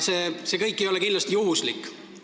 See kõik ei ole kindlasti juhuslik.